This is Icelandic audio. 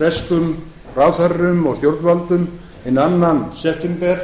breskum ráðherrum og stjórnvöldum hinn annan september